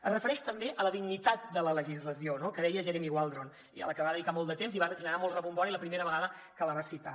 es refereix també a la dignitat de la legislació no que deia jeremy waldron a la que va dedicar molt de temps i va generar molt rebombori la primera vegada que la va citar